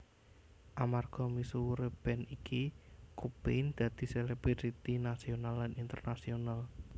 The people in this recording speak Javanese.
Amarga misuwure band iki Cobain dadi selebriti nasional lan internasional